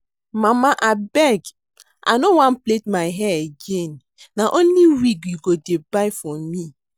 Mama abeg I no wan plait my hair again na only wig you go dey buy for me